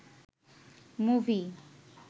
movie